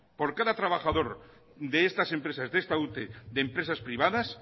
por cada trabajador de estas empresas de esta ute de empresas privadas